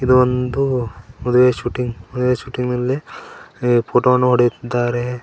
ಇದು ಒಂದು ಮದುವೆ ಶೂಟಿಂಗ್ ಮದುವೆ ಶೂಟಿಂಗ ಲ್ಲಿ ಎ- ಫೋಟೋ ವನ್ನು ಹೊಡೆಯುತ್ತಿದ್ದಾರೆ.